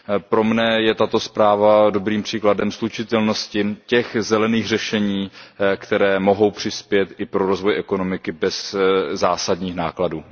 Pro mne je tato zpráva dobrým příkladem slučitelnosti těch zelených řešení, která mohou přispět i k rozvoji ekonomiky bez zásadních nákladů.